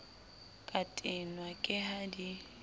ka tenwa ke ha di